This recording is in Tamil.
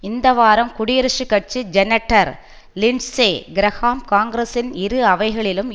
இந்த வாரம் குடியரசுக் கட்சி செனட்டர் லிண்சே கிரஹாம் காங்கிரஸின் இரு அவைகளிலும்